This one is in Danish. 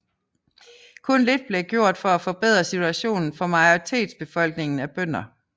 Kun lidt blev gjort for at forbedre situationen for majoritetsbefolkningen af bønder